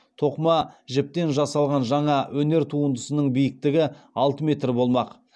тоқыма жіптен жасалған жаңа өнер туындысының биіктігі алты метр болмақ